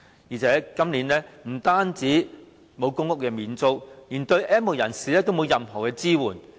再者，政府今年不但沒有提供公屋免租，連對 "N 無人士"也沒有提供任何支援。